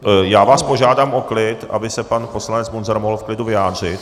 Já vás požádám o klid, aby se pan poslanec Munzar mohl v klidu vyjádřit.